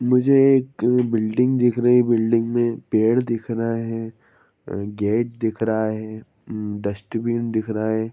मुझे एक बिल्डिंग दिख रही है बिल्डिंग में पेड़ दिख रहा है गेट दिख रहा है डस्टबिन दिख रहा है।